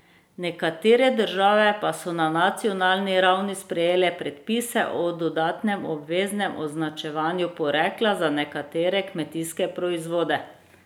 Nekatere države pa so na nacionalni ravni sprejele predpise o dodatnem obveznem označevanju porekla za nekatere kmetijske proizvode.